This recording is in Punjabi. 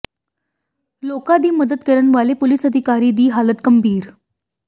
ਲੋਕਾਂ ਦੀ ਮਦਦ ਕਰਨ ਵਾਲੇ ਪੁਲਿਸ ਅਧਿਕਾਰੀ ਦੀ ਹਾਲਤ ਗੰਭੀਰ